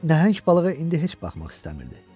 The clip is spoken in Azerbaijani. Nəhəng balığa indi heç baxmaq istəmirdi.